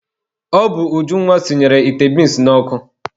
Ọ bụ Ujunwa sinyere ite binsi n'ọkụ.